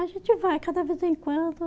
A gente vai cada vez em quando.